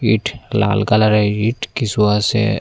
ইট লাল কালারের ইট কিসু আসে।